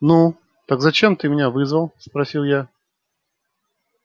ну так зачем ты меня вызвал спросил я